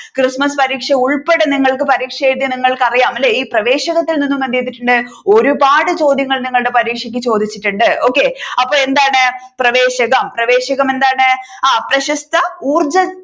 Christmas പരീക്ഷ ഉൾപ്പടെ നിങ്ങൾക്ക് പരീക്ഷ എഴുതിയ നിങ്ങൾക്ക് അറിയാം അല്ലെ ഈ പ്രവേശകത്തിൽ നിന്നും എന്ത് ചെയ്തിട്ടുണ്ട് ഒരുപാട് ചോദ്യങ്ങൾ നിങ്ങളുടെ പരീക്ഷക്ക് ചോദിച്ചിട്ടുണ്ട് okay അപ്പൊ എന്താണ് പ്രവേശകം പ്രവേശകം എന്താണ് ആ പ്രശസ്ത ഊർജ